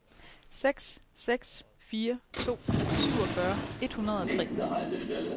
seks seks fire to syvogfyrre et hundrede og tre